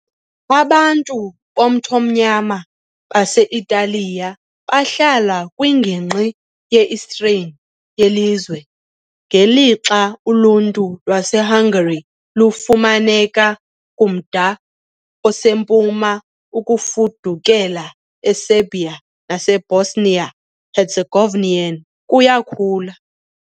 Abantu bomthonyama base -Italiya bahlala kwingingqi ye-Istrian yelizwe, ngelixa uluntu lwaseHungary lufumaneka kumda osempuma, Ukufudukela eSerbia naseBosnia -Herzegovinian kuyakhula.